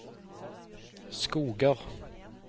Skoger